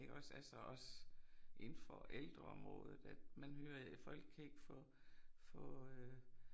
Iggås altså også indenfor ældreområdet at man hører folk kan ikke få få øh